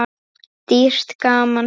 Dýrt gaman það.